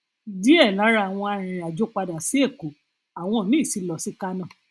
díẹ lára àwọn arìnrìnàjò padà sí èkó àwọn míì sì lọ sí kánò